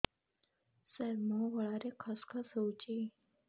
ସାର ମୋ ଗଳାରେ ଖସ ଖସ ହଉଚି